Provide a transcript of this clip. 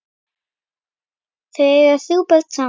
Þau eiga þrjú börn saman.